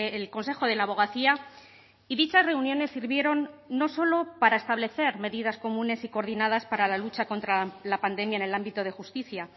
el consejo de la abogacía y dichas reuniones sirvieron no solo para establecer medidas comunes y coordinadas para la lucha contra la pandemia en el ámbito de justicia